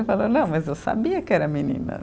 Eu falei, não, mas eu sabia que era menina.